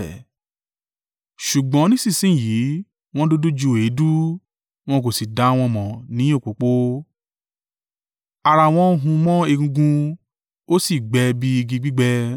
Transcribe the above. Ṣùgbọ́n nísinsin yìí wọ́n dúdú ju èédú; wọn kò sì dá wọn mọ̀ ní òpópó. Ara wọn hun mọ́ egungun; ó sì gbẹ bí igi gbígbẹ.